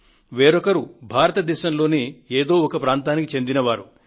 వేరొకరు భారత దేశంలోని ఏదో ఒక ప్రాంతానికి చెందిన వారు